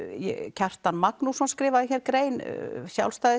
Kjartan Magnússon skrifaði grein